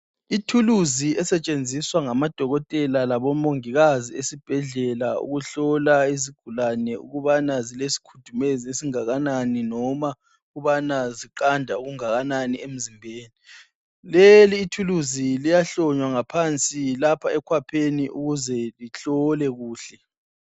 Ithuluzi esetshenziswa ngamadokotela labomongikazi esibhedlela ukuhlola izigulane ukubana zilesikhudumezi esingakanani noma ukubana ziqanda okungakanani emzimbeni. Leli ithuluzi liyahlonywa ngaphansi lapha ekhwapheni ukuze lihlole kuhle.